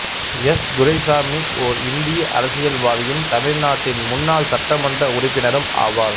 S Duraisamy ஓர் இந்திய அரசியல்வாதியும் தமிழ்நாட்டின் முன்னாள் சட்டமன்ற உறுப்பினரும் ஆவார்